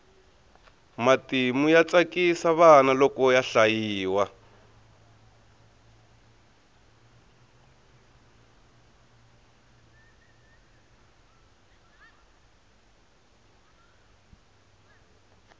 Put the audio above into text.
matimu ya tsakisa vana loko ya hlayiwa